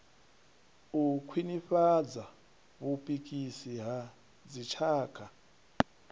u khwinifhadza vhupikisani ha dzitshaka